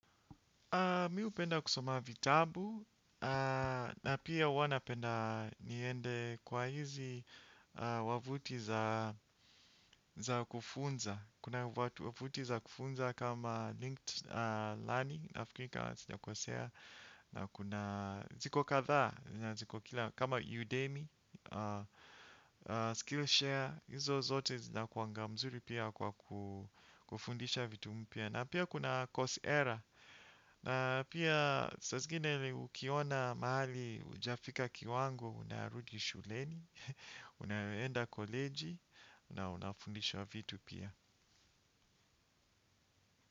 Mimi hupenda kusoma vitabu, na pia huwa napenda niende kwa hizi wavuti za kufunza. Kuna wavuti za kufunza kama Linked Learning, nafikiri kama sijakosea na kuna ziko kadhaa, na ziko kila kama Udemy, Skillshare, Izo zote zinakuanga mzuri pia kwa kufundisha vitu mpya na pia kuna course error. Na pia saa zingine ukiona mahali hujafika kiwango unarudi shuleni, unaenda college na unafundishwa vitu pia.